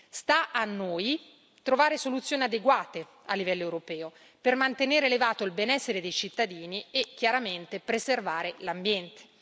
Sta a noi trovare soluzioni adeguate a livello europeo per mantenere elevato il benessere dei cittadini e chiaramente preservare l'ambiente.